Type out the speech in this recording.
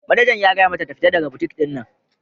Manejan ya gaya mata ta fitar daga butik din!